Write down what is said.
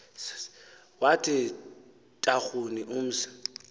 wathi tarhuni mzi